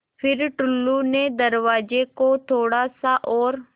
फ़िर टुल्लु ने दरवाज़े को थोड़ा सा और